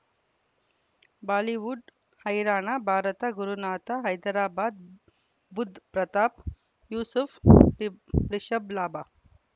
Bollywood ಹೈರಾಣ ಭಾರತ ಗುರುನಾಥ ಹೈದರಾಬಾದ್ ಬುಧ್ ಪ್ರತಾಪ್ ಯೂಸುಫ್ ರಿಷಬ್ ಲಾಭ